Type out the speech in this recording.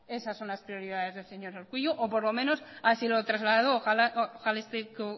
esas son las prioridades del señor urkullu o por lo menos así lo trasladó ojalá esté